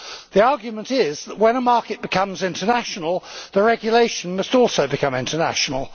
The argument is that when a market becomes international, the regulation must also become international.